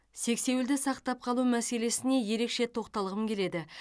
сексеуілді сақтап қалу мәселесіне ерекше тоқталғым келеді